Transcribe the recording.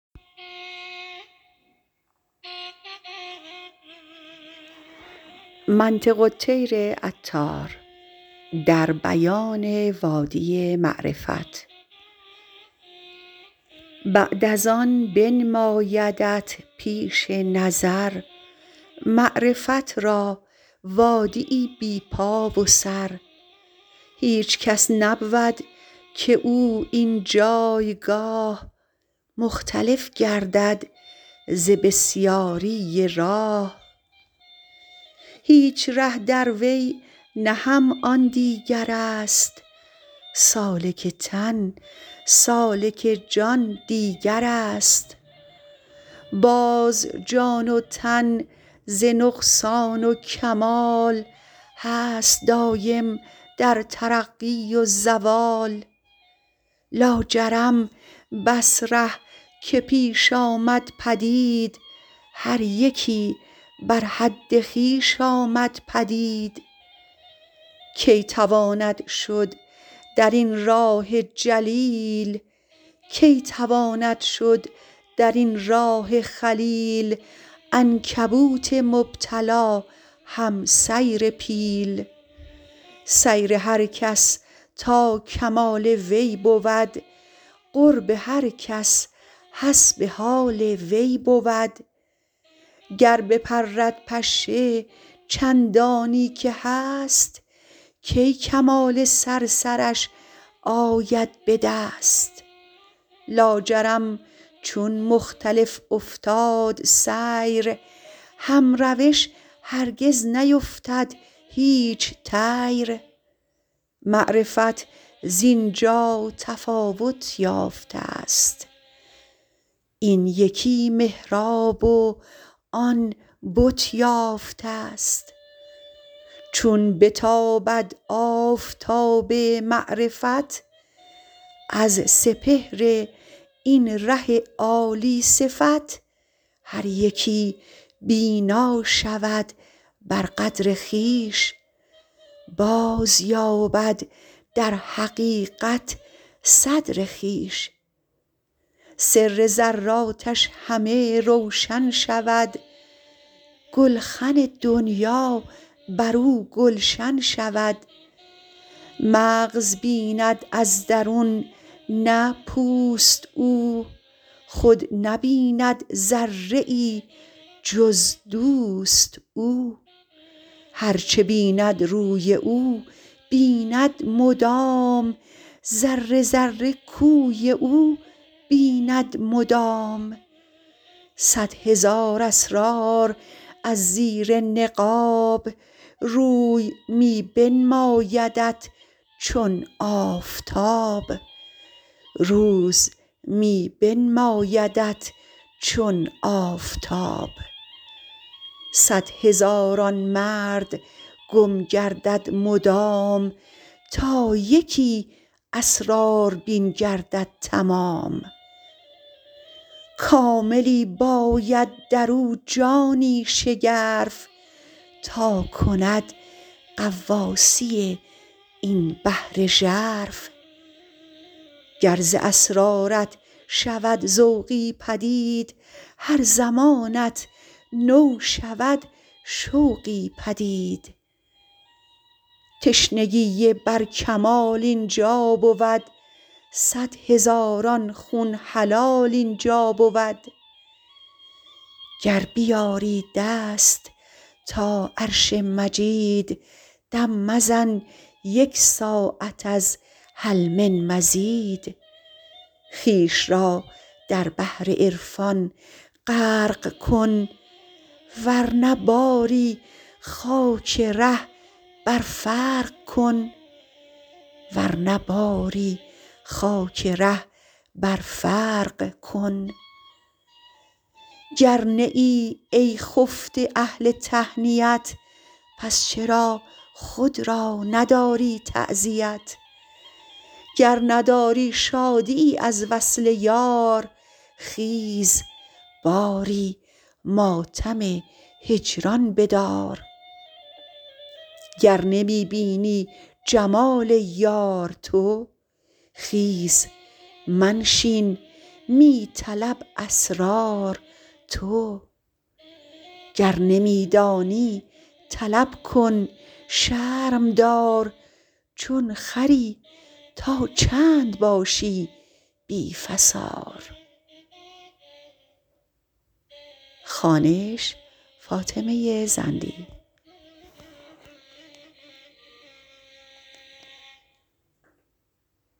بعد از آن بنمایدت پیش نظر معرفت را وادیی بی پا و سر هیچ کس نبود که او این جایگاه مختلف گردد ز بسیاری راه هیچ ره دروی نه هم آن دیگرست سالک تن سالک جان دیگرست باز جان و تن ز نقصان و کمال هست دایم در ترقی و زوال لاجرم بس ره که پیش آمد پدید هر یکی بر حد خویش آمد پدید کی تواند شد درین راه جلیل عنکبوت مبتلا هم سیر پیل سیر هر کس تا کمال وی بود قرب هر کس حسب حال وی بود گر بپرد پشه چندانی که هست کی کمال صرصرش آید بدست لاجرم چون مختلف افتاد سیر هم روش هرگز نیفتد هیچ طیر معرفت زینجا تفاوت یافتست این یکی محراب و آن بت یافتست چون بتابد آفتاب معرفت از سپهر این ره عالی صفت هر یکی بینا شود بر قدر خویش بازیابد در حقیقت صدر خویش سر ذراتش همه روشن شود گلخن دنیا برو گلشن شود مغز بیند از درون نه پوست او خود نبیند ذره ای جز دوست او هرچ بیند روی او بیند مدام ذره ذره کوی او بیند مدام صد هزار اسرار از زیر نقاب روز می بنمایدت چون آفتاب صد هزاران مرد گم گردد مدام تا یکی اسراربین گردد تمام کاملی باید درو جانی شگرف تا کند غواصی این بحر ژرف گر ز اسرارت شود ذوقی پدید هر زمانت نو شود شوقی پدید تشنگی بر کمال اینجا بود صد هزاران خون حلال اینجا بود گر بیازی دست تا عرش مجید دم مزن یک ساعت از هل من مزید خویش را در بحر عرفان غرق کن ورنه باری خاک ره بر فرق کن گر نه ای ای خفته اهل تهنیت پس چرا خود را نداری تعزیت گر نداری شادیی از وصل یار خیز باری ماتم هجران بدار گر نمی بینی جمال یار تو خیز منشین می طلب اسرار تو گر نمی دانی طلب کن شرم دار چون خری تا چند باشی بی فسار